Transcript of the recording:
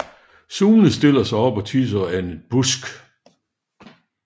Sune stiller sig op og tisser af en busk